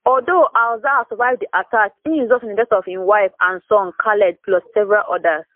although alzahar survive di attack e result in di death of im wife and son khaled plus several odas